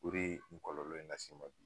O de ye nin kɔlɔlɔ in las'i ma bi